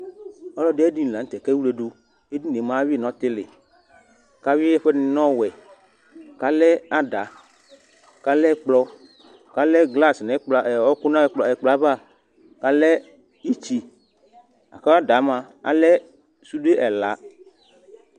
Ɔlɔdi ayʋ ɛdiní la ntɛ kʋ ewledu Ɛdiní ye mʋa awi yi nʋ ɔtili kʋ awi ɛfuɛ ɛdiní nʋ ɔwɛ kʋ alɛ ada kʋ alɛ ɛkplɔ kʋ alɛ glas, ɔku nʋ ɛkplɔ ava kʋ ìtsí kʋ ada yɛ mʋa alɛ sude ɛla